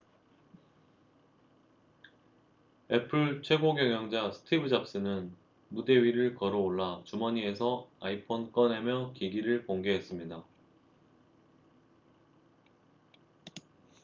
애플 최고경영자 스티브 잡스는 무대 위를 걸어올라 주머니에서 iphone 꺼내며 기기를 공개했습니다